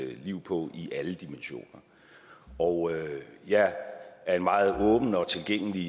mit liv på i alle dimensioner og jeg er en meget åben og tilgængelig